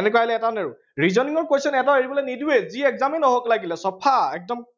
এনেকুৱা আহিলে এটাও নেৰো। reasoning ৰ question এটাও এৰিব নিদিওৱেই। যি exam য়েই নহওক লাগিলে, চফা। একদম